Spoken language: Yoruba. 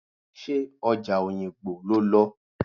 Ṣé ọjà Oyingbo lo lọ?